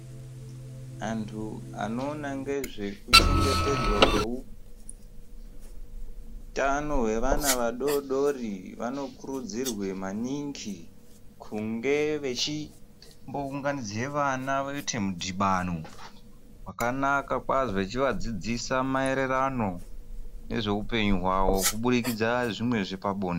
Antu anoona ngezvekuchengetedzwa kweutano hwevana vadodori vanokurudzirwa maningi kunge vechimbounganidza vana voite mudhibano wakanaka kwazvo vechivadzidzisa maererano nezveupenyu hwavo kuburikidza zvimwe zvepabo.